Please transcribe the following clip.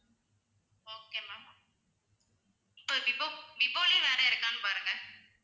okay ma'am இப்ப Vivo விவோலயே வேற இருக்கானு பாருங்க